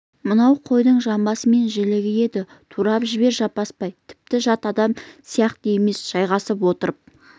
мынау қойдың жамбасы мен жілігі еді турап жібер жаппасбай тіпті жат адам сияқты емес жайғасып отырып